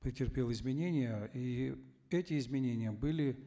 претерпел изменения и эти изменения были